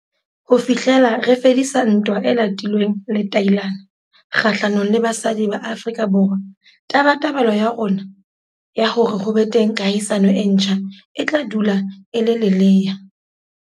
Ho fi hlela re fedisa ntwa e latilweng letailana kgahlanong le basadi ba Afrika Borwa, tabatabelo ya rona ya hore ho be teng kahisano e ntjha e tla dula e le lelea.